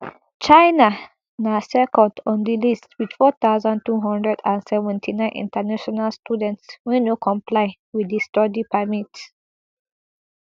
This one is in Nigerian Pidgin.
chinana second on di list wit four thousand, two hundred and seventy-nine international students wey no comply wit di study permit